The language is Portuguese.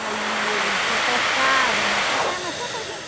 Aí ele pe pescava, né pescava, mas só para a gente...